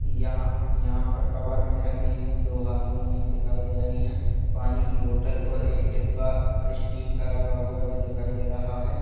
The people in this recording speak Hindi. यहाँ पर कवर में रखी दो हार्मोनियम दिखाई दे रही है पानी की बॉटल और एक डिब्बा अ_स्टील का रखा हुआ जो दिखाई दे रहा है।